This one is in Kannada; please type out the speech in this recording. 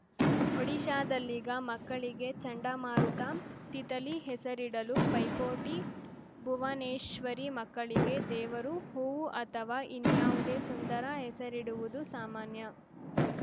ಒಡಿಶಾದಲ್ಲೀಗ ಮಕ್ಕಳಿಗೆ ಚಂಡಮಾರುತ ತಿತಲಿ ಹೆಸರಿಡಲು ಪೈಪೋಟಿ ಭುವನೇಶ್ವರಿ ಮಕ್ಕಳಿಗೆ ದೇವರು ಹೂವು ಅಥವಾ ಇನ್ಯಾವುದೇ ಸುಂದರ ಹೆಸರಿಡುವುದು ಸಾಮಾನ್ಯ